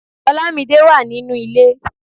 Olamide wà nínú ilé.